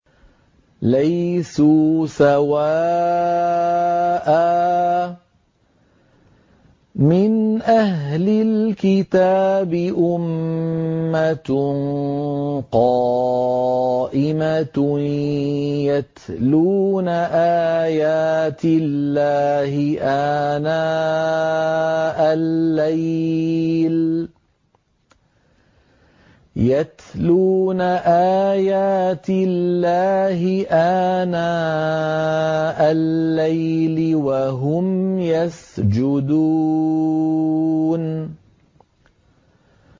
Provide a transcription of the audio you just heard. ۞ لَيْسُوا سَوَاءً ۗ مِّنْ أَهْلِ الْكِتَابِ أُمَّةٌ قَائِمَةٌ يَتْلُونَ آيَاتِ اللَّهِ آنَاءَ اللَّيْلِ وَهُمْ يَسْجُدُونَ